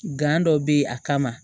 dɔ bɛ yen a kama